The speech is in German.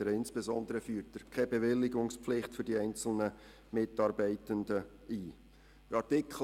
Insbesondere würde keine Bewilligungspflicht für die einzelnen Mitarbeitenden eingeführt.